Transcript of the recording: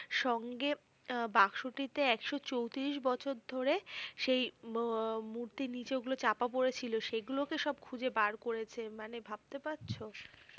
সঙ্গে আহ বাক্সটিতে একশ চৌত্রিশ বছর ধরে সেই ম মূর্তির নিচে গুলো চাপা পড়ে ছিল সে গুলোকে সব খুঁজে বার করেছে মানে ভাবতে পাড়ছো?